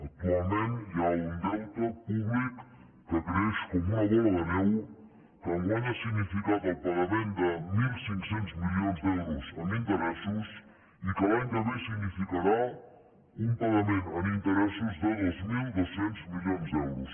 actualment hi ha un deute públic que creix com una bola de neu que enguany ha significat el pagament de mil cinc cents milions d’euros en interessos i que l’any que ve significarà un pagament en interessos de dos mil dos cents milions d’euros